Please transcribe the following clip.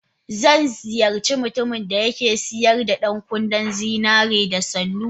Zan ziyarci mutumin da ke sayar da 'yan kunne na zinariya da sannu.